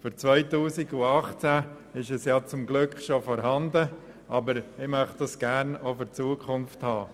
Für 2018 ist dies ja zum Glück bereits der Fall, aber wir möchten diese Veranstaltung gern auch in Zukunft durchführen.